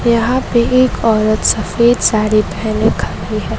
यहां पे एक औरत सफेद साड़ी पहने खड़ी है।